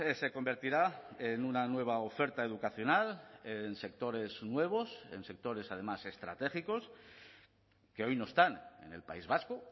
se convertirá en una nueva oferta educacional en sectores nuevos en sectores además estratégicos que hoy no están en el país vasco